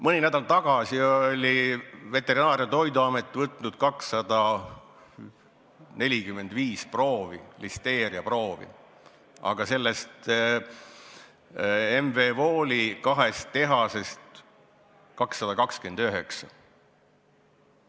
Mõni nädal tagasi oli Veterinaar- ja Toiduamet võtnud 245 listeeriaproovi, aga neist 229 M.V. Wooli kahest tehasest.